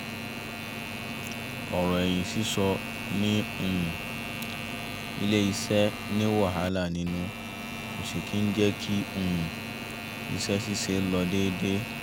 ọ̀rọ̀ ẹ̀yìn sísọ ní um ilé-iṣẹ́ ni wàhálà nínú kò sì kí ń jẹ́ kí um iṣẹ́ ṣíṣe lọ déédé